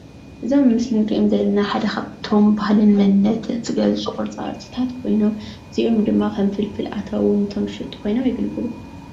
እዞም ኣብ ምስሊ እንሪኦም ዘለና ሓደ ካብቶም ባህሊን መንነትን ዝገልፁ ቅርፃቅርፂ ዝገልፁ ኮይኖም እዚኦም ድማ ከም ፍልፍል ኣታዊ ኮይኖም የገልግሉ፡፡